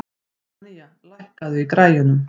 Stefanía, lækkaðu í græjunum.